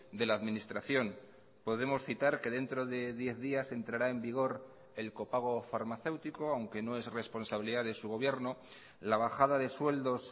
de la administración podemos citar que dentro de diez días entrará en vigor el copago farmacéutico aunque no es responsabilidad de su gobierno la bajada de sueldos